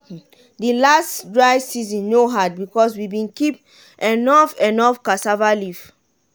de last dry season no hard because we bin keep enough enough cassava leaf.